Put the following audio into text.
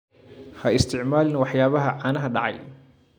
Ha isticmaalin waxyaabaha caanaha dhacay.